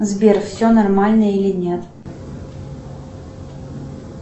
сбер все нормально или нет